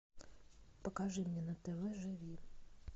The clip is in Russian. покажи мне на тв живи